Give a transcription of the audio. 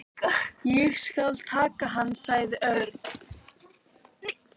Ég skal taka hann sagði Örn.